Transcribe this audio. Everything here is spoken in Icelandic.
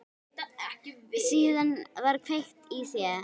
Síðan var kveikt í þeim.